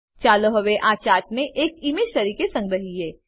ચાલો હવે આ ચાર્ટને એક ઈમેજ તરીકે સંગ્રહીએ